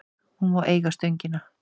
Hún má eiga Stöngina.